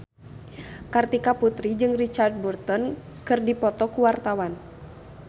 Kartika Putri jeung Richard Burton keur dipoto ku wartawan